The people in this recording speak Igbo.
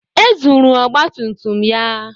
E zuru ọgba tum tum ya.